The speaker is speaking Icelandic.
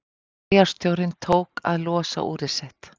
Bæjarstjórinn tók að losa úrið sitt.